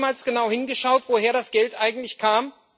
Wurde da jemals genau hingeschaut, woher das Geld eigentlich kam?